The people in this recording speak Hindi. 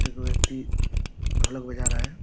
एक व्यक्ति ढोलक बजा रहा है।